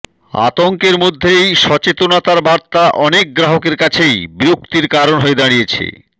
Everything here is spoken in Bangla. আতঙ্কের মধ্যেই সচেতনার বার্তা অনেক গ্রাহকের কাছেইন বিরক্তির কারণ হয়ে দাঁড়িয়েছে